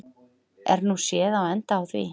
Er nú séð á enda á því.